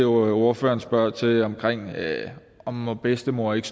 ordføreren til om en bedstemor ikke